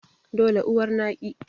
dole uwar naki